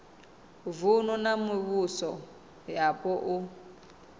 vunu na mivhuso yapo u